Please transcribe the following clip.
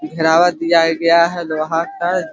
घेरावा कियाा गया हैं ग्राहक हर--